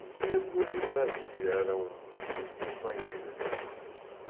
E tinha duas irmãs, que eram muito companheiras.